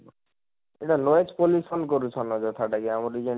ଇଟା ପଲୁସନ କରୁଛନ ଅଯଥା ଟା କେ ଆମର ଇଜେନ